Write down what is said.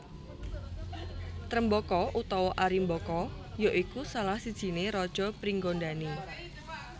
Trembaka utawa Arimbaka ya iku salah sijiné raja Pringgandani